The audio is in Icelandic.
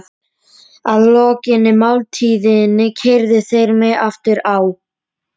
hvíslaði Haraldur Hálfdán að þeim skeggjaða.